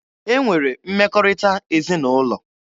E nwere mmekọrịta ezinaụlọ.